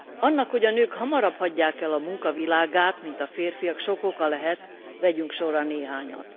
Annak, hogy a nők hamarabb hagyják el a munka világát, mint a férfiak, sok oka lehet, vegyünk sorra néhányat.